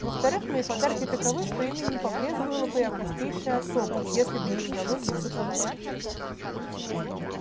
во-вторых мои подарки таковы что ими не побрезговала бы и августейшая особа если бы ей удалось их заполучить